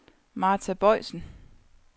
Martha Boisen